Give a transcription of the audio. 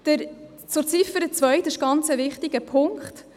Die Ziffer 2 ist ein ganz wichtiger Punkt.